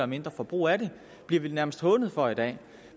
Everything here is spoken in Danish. mindre forbrug af dem bliver vi nærmest hånet for i dag